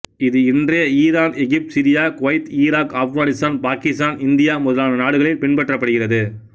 இது இன்றையா Iran Egypt Syria Kuwait Iraq Afghanistan Pakistan India முதலான நாடுகளில் பின்பற்றப்படுகிறது